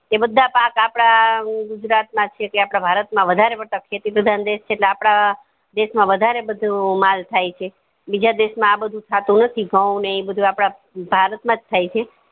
તે બધા પાક આપદા ગુજરાત માં ચ છે કે આપડા ભારત વધારે પડતા ખેતી પ્રધાન દેશ છે ઈ આપડા કરતા દેશ માં વધારે બધું માલ થાય છે બીજા દેશ માં આ બધું થતું નથી ઘઉં ને ઈ બધું આપડા ભારત માં થાય છે